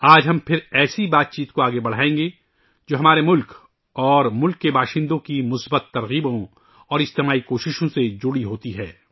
آج ہم پھر ایسے تبادلۂ خیال کو آگے بڑھائیں گے، جو ہمارے ملک اور ہم وطنوں کی مثبت تحریکوں اور اجتماعی کوششوں سے جڑے ہوتے ہیں